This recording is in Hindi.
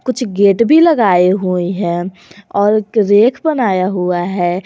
कुछ गेट भी लगाए हुए हैं और रेख बनाया हुआ है।